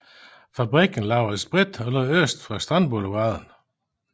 Fabrikken lavede sprit og lå øst for Strandboulevarden